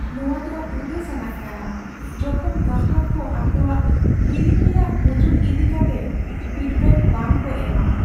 ᱱᱚᱣᱟᱫᱚ ᱩᱫᱟᱹᱥᱟᱱᱟᱜ ᱠᱟᱱᱟ ᱡᱚᱠᱷᱚᱱ ᱜᱟᱦᱟᱠ ᱠᱚ ᱟᱠᱚᱣᱟᱜ ᱠᱤᱨᱤᱧ ᱨᱮᱭᱟᱜ ᱵᱩᱡᱩᱱ ᱤᱫᱤ ᱠᱟᱛᱮ ᱯᱷᱤᱰᱵᱮᱠ ᱵᱟᱝ ᱠᱚ ᱮᱢᱼᱟ ᱾